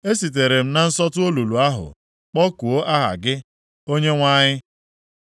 Esitere m na nsọtụ olulu ahụ kpọkuo aha gị, gị Onyenwe anyị.